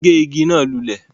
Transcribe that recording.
Wọ́n gé ìgi náà lulẹ̀